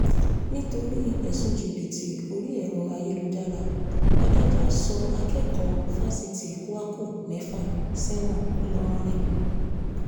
nítorí ẹ̀sùn jìbìtì orí ẹ̀rọ ayélujára adájọ́ sọ akẹ́kọ̀ọ́ fáṣítì kwakù mẹ́fà sẹ́wọ̀n ńlọrọrìn